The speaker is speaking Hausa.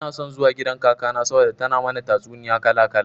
Ina son zuwa gidan kakana saboda tana mana tatsuniya kala kala.